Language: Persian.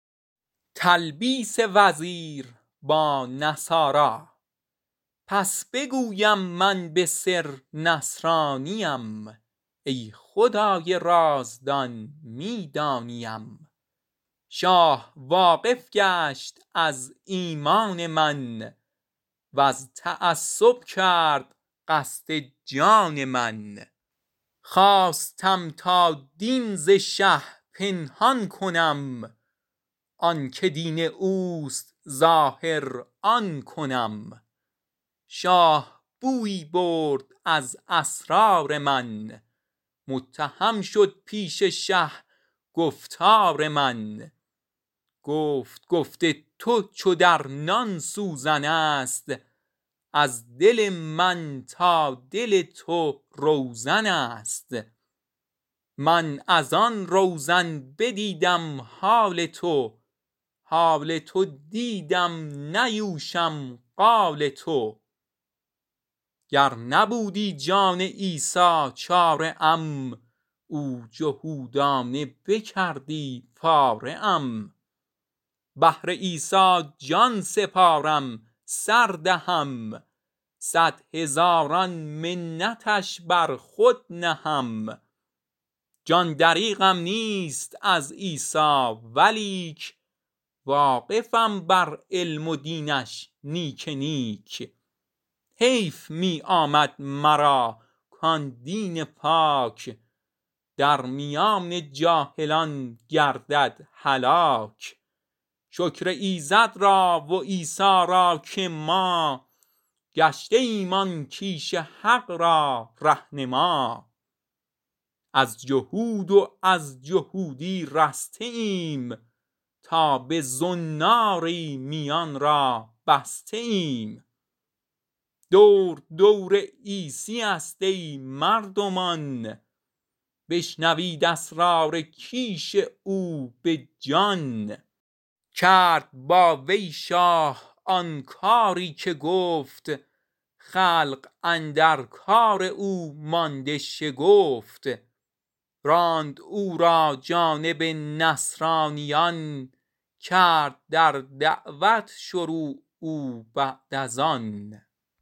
پس بگویم من به سر نصرانیم ای خدای رازدان می دانیم شاه واقف گشت از ایمان من وز تعصب کرد قصد جان من خواستم تا دین ز شه پنهان کنم آنک دین اوست ظاهر آن کنم شاه بویی برد از اسرار من متهم شد پیش شه گفتار من گفت گفت تو چو در نان سوزنست از دل من تا دل تو روزنست من از آن روزن بدیدم حال تو حال تو دیدم ننوشم قال تو گر نبودی جان عیسی چاره ام او جهودانه بکردی پاره ام بهر عیسی جان سپارم سر دهم صد هزاران منتش بر خود نهم جان دریغم نیست از عیسی ولیک واقفم بر علم دینش نیک نیک حیف می آمد مرا کان دین پاک درمیان جاهلان گردد هلاک شکر ایزد را و عیسی را که ما گشته ایم آن کیش حق را ره نما از جهود و از جهودی رسته ایم تا به زناری میان را بسته ایم دور دور عیسیست ای مردمان بشنوید اسرار کیش او بجان کرد با وی شاه آن کاری که گفت خلق حیران مانده زان مکر نهفت راند او را جانب نصرانیان کرد در دعوت شروع او بعد از آن